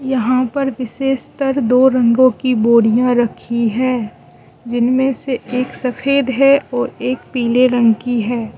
यहां पर विशेषतर दो रंगों की बोरियां रखी है जिनमें से एक सफेद है और एक पीले रंग की है।